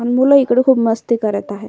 मूल इकड खूप मस्ती करत आहे.